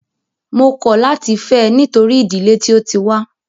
Mó kọ̀ láti fẹ́ ẹ nítorí ìdílé tí o tí wá.